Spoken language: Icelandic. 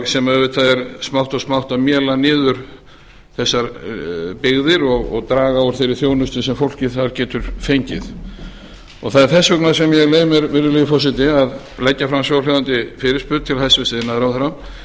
sem auðvitað er smátt og smátt að mélar niður þessar byggðir og draga úr þeirri þjónustu sem fólkið þar getur fengið það er þess vegna sem ég leyfi mér virðulegi forseti að leggja fram svohljóðandi fyrirspurn til hæstvirts iðnaðarráðherra